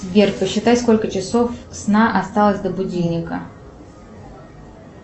сбер посчитай сколько часов сна осталось до будильника